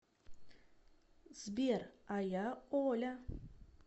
сбер а я оля